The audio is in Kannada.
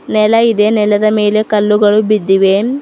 ನೆಲ ಇದೆ ನೆಲದ ಮೇಲೆ ಕಲ್ಲುಗಳು ಬಿದ್ದಿವೆ.